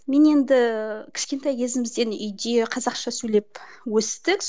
мен енді кішкентай кезімізден үйде қазақша сөйлеп өстік